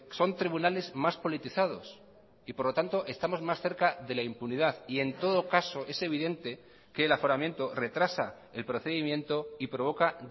son tribunales más politizados y por lo tanto estamos más cerca de la impunidad y en todo caso es evidente que el aforamiento retrasa el procedimiento y provoca